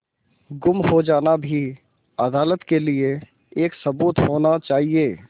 गुम हो जाना भी अदालत के लिये एक सबूत होना चाहिए